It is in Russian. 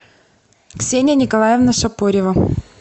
ксения николаевна шапорева